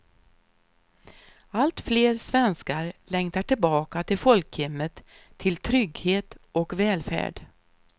Allt fler svenskar längtar tillbaka till folkhemmet, till trygghet och välfärd.